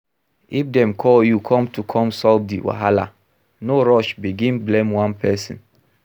If dem call you come to come solve di wahala, no rush begin blame one person